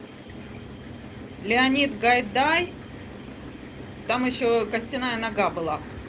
леонид гайдай там еще костяная нога была